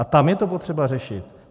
A tam je to potřeba řešit.